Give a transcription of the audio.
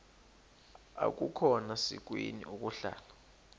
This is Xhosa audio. akukhona sikweni ukuhlala